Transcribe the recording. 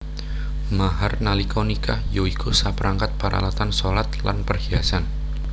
Mahar nalika nikah ya iku saperangkat paralatan shalat lan perhiasan